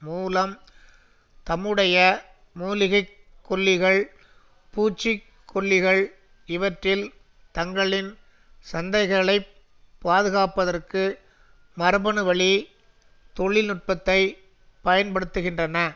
மூலம் தம்முடைய மூலிகைக்கொல்லிகள் பூச்சிக்கொல்லிகள் இவற்றில் தங்களின் சந்தைகளைப் பாதுகாப்பதற்கு மரபணுவழி தொழில் நுட்பத்தை பயன்படுத்துகின்றன